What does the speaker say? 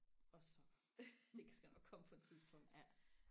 og sokker det skal nok komme på et tidspunkt ja